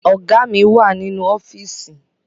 Ọ̀gá mi wà nínú ọ́fíìsì